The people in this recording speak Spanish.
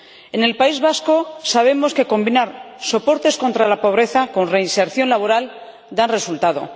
En el País Vasco sabemos que combinar soportes contra la pobreza con reinserción laboral da resultado.